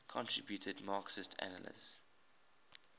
contributed marxist analyses